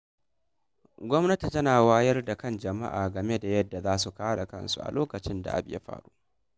Gwamnati tana wayar da kan jama'a game da yadda za su kare kansu a lokacin da abu ya faru.